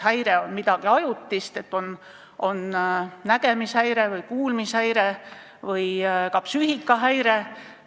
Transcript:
Häire on midagi ajutist, on nägemishäire, kuulmishäire või ka psüühikahäire.